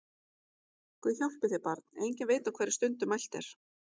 Guð hjálpi þér barn, enginn veit á hverri stundu mælt er!